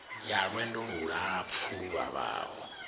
ya lwendo lulapfu lu vhavhaho